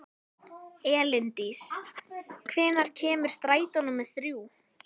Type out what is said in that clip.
Elíndís, hvenær kemur strætó númer þrjú?